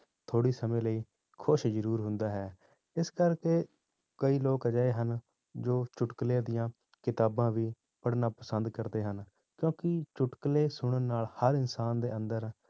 ਥੋੜ੍ਹੇ ਸਮੇਂ ਲਈ ਖ਼ੁਸ਼ ਜ਼ਰੂਰ ਹੁੰਦਾ ਹੈ, ਇਸ ਕਰਕੇ ਕਈ ਲੋਕ ਅਜਿਹੇ ਹਨ, ਜੋ ਚੁੱਟਕਲੇ ਦੀਆਂ ਕਿਤਾਬਾਂ ਵੀ ਪੜ੍ਹਣਾ ਪਸੰਦ ਕਰਦੇ ਹਨ, ਕਿਉਂਕਿ ਚੁੱਟਕਲੇ ਸੁਣਨ ਨਾਲ ਹਰ ਇਨਸਾਨ ਦੇ ਅੰਦਰ